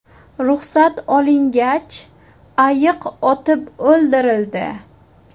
Ruxsat olingach, ayiq otib o‘ldirildi.